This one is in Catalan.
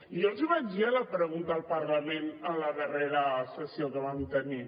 jo els ho vaig dir a la pregunta al parlament a la darrera sessió que vam tenir